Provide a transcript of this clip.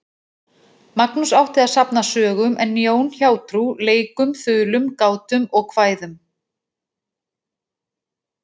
Magnús átti að safna sögum en Jón hjátrú, leikum, þulum, gátum og kvæðum.